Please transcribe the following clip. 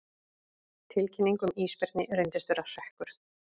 Tilkynning um ísbirni reyndist vera hrekkur